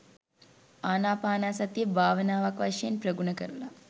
ආනාපානසතිය භාවනාවක් වශයෙන් ප්‍රගුණ කරලා